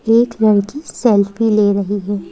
एक लड़की सेल्फी ले रही है।